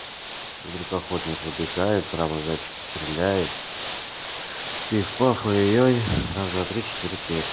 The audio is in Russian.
вдруг охотник выбегает прямо зайчика стреляет пиф-паф ой-ой-ой раз-два-три-четыре пять